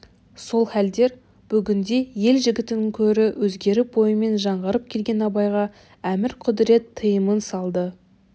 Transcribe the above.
сол халдер бүгінде ел жігітінен көрі өзгеріп ойымен жаңғырып келген абайға әмір-құдірет тыйымын салды